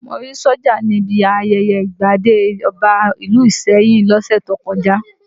Mo rí sójà níbi ayẹyẹ ìgbadé ọba ìlú Ìsẹ́yìn lọ́sẹ̀ tó kọjá